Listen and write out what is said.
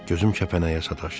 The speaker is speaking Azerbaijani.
Gözüm kəpənəyə sataşdı.